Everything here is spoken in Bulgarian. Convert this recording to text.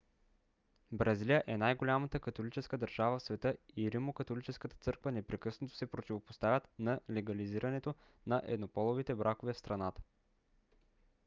бразилия е най - голямата католическа държава в света и римокатолическата църква непрекъснато се противопоставят на легализирането на еднополовите бракове в страната